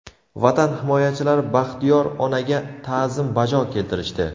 Vatan himoyachilari Baxtiyor onaga ta’zim bajo keltirishdi.